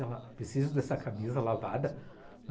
Ela: preciso dessa camisa lavada.